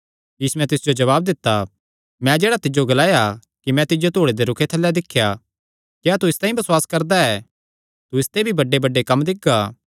यीशुयैं तिस जो जवाब दित्ता मैं जेह्ड़ा तिज्जो ग्लाया कि मैं तिज्जो धूड़े दे रूखे थल्लै दिख्या क्या तू इसतांई बसुआस करदा ऐ तू इसते भी बड्डेबड्डे कम्म दिक्खगा